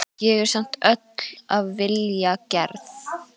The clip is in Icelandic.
Ég er samt öll af vilja gerð.